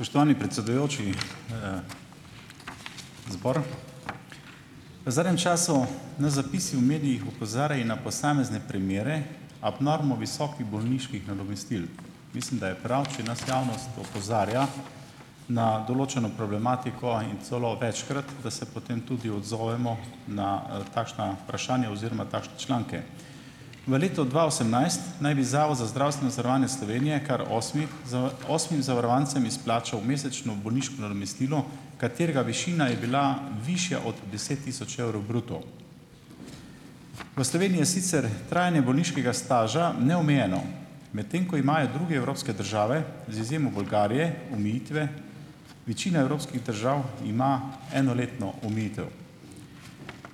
Spoštovani predsedujoči zbor. V zadnjem času nas zapisi v medijih opozarjajo na posamezne primere abnormno visokih bolniških nadomestil. Mislim, da je prav, če nas javnost opozarja na določeno problematiko in celo večkrat, da se potem tudi odzovemo na takšna vprašanja oziroma takšne članke. V letu dva osemnajst naj bi Zavod za zdravstveno zavarovanje Slovenije kar osmim osmim zavarovancem izplačal mesečno bolniško nadomestilo, katerega višina je bila višja od deset tisoč evrov bruto. V Sloveniji je sicer trajanje bolniškega staža neomejeno, medtem ko imajo druge evropske države, z izjemo Bolgarije omejitve, večina evropskih držav ima enoletno omejitev.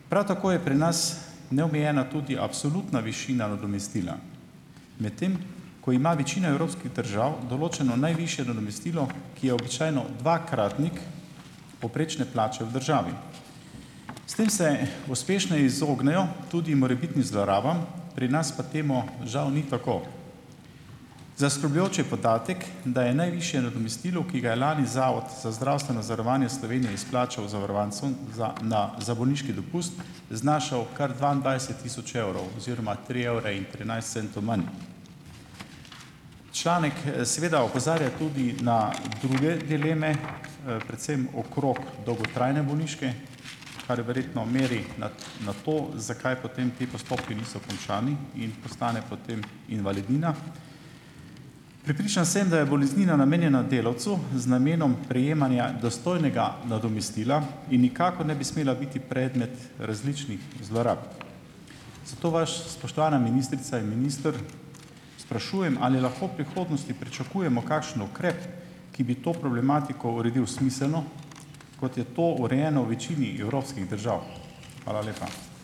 Prav tako je pri nas neomejena tudi absolutna višina nadomestila, medtem ko ima večina evropskih držav določeno najvišje nadomestilo, ki je običajno dvakratnik povprečne plače v državi. S tem se uspešno izognejo tudi morebitnim zlorabam, pri nas pa temu žal ni tako. Zaskrbljujoč je podatek, da je najvišje nadomestilo, ki ga je lani Zavod za zdravstveno zavarovanje Slovenije izplačal zavarovancem za na za bolniški dopust, znašal kar dvaindvajset tisoč evrov oziroma tri evre in trinajst centov manj. Članek seveda opozarja tudi na druge dileme, predvsem okrog dolgotrajne bolniške, kar verjetno meri na na to, zakaj potem ti postopki niso končani in postane potem invalidnina. Prepričan sem, da je boleznina namenjena delavcu z namenom prejemanja dostojnega nadomestila in nikakor ne bi smela biti predmet različnih zlorab. Zato vas, spoštovana ministrica in minister, sprašujem, ali lahko v prihodnosti pričakujemo kakšen ukrep, ki bi to problematiko uredil smiselno, kot je to urejeno v večini evropskih držav? Hvala lepa.